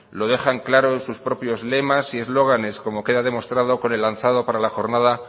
lo dejan claro sus propios lemas y eslóganes como queda demostrado con el lanzado para la jornada